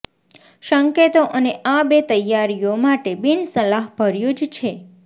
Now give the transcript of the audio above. સંકેતો અને આ બે તૈયારીઓ માટે બિનસલાહભર્યું જ છે